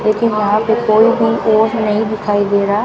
लेकिन यहां पे कोई भी और नहीं दिखाई दे रहा।